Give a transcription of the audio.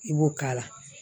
I b'o k'a la